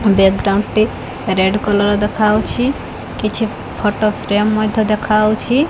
Background ଟି red colour ଦେଖାହଉଛି କିଛି ଫୋଟୋ ଫ୍ରେମ ମଧ୍ୟ ଦେଖାହଉଛି।